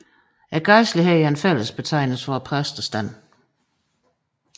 Gejstligheden er en fællesbetegnelse for præstestanden